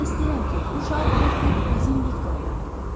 Demək istəyirəm ki, bu şar vur-tut bizim Viktoriyadır.